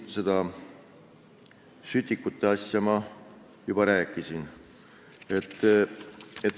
Sütikute asja ma juba rääkisin.